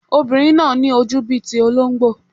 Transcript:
Ọmọbìnrin náà ní ojú bíi ti olóńgbò.